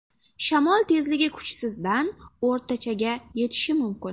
Shamol tezligi kuchsizdan o‘rtachaga yetishi mumkin.